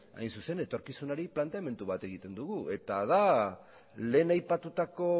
etorkizunari planteamendu bat egiten dugu eta da lehen aipatutako